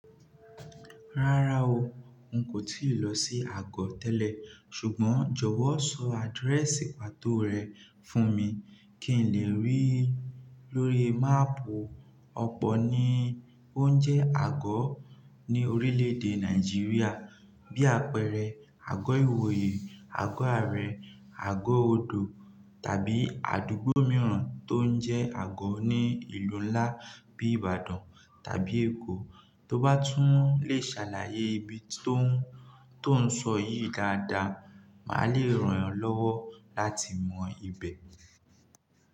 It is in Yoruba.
Rárá o, n kò tíì lọ sí Àgọ́ tẹ́lẹ̀, ṣùgbọ́n jọ̀wọ́ sọ adirẹ́sì pàtó rẹ̀ fún mi kí n lè rí lórí máàpù. Ọ̀pọ̀ ní ó ń jẹ́ Àgọ́ ní orílẹ̀èdè Nàìjíríà, bí àpẹẹrẹ Àgọ́ ìwòye, Àgọ́ ààrẹ, Àgọ́ odò, tàbí àdúgbò mìíràn tó ń jẹ́ Àgọ́ ní ìlú ńlá bí Ìbàdàn tàbí Èkó. Tóbá tún lè ṣàlàyé ibi tó ń sọ yìí dáadáa, màá lè ràn ọ́ lọ́wọ́ láti mọ ibẹ̀.